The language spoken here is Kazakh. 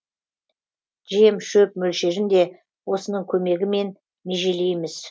жем шөп мөлшерін де осының көмегімен межелейміз